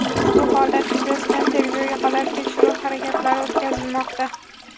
Ushbu holat yuzasidan tergovga qadar tekshiruv harakatlari o‘tkazilmoqda.